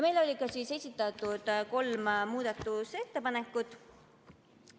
Meile oli esitatud kolm muudatusettepanekut.